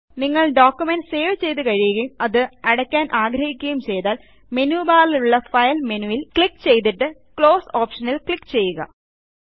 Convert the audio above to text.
നിങ്ങൾ document save ചെയ്തു കഴിയുകയും അത് അടക്കാൻ ആഗ്രഹിക്കുകയും ചെയ്താൽ മെനു ബാറിലുള്ള ഫൈൽ മെനുവിൽ ക്ലിക്ക് ചെയ്തിട്ട് ക്ലോസ് ഓപ്ഷനിൽ ക്ലിക്ക് ചെയ്യുക